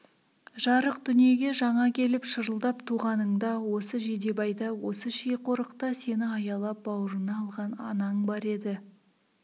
жарық дүниеге жаңа келіп шырылдап туғаныңда осы жидебайда осы ши-қорықта сені аялап бауырына алған анаң бар еді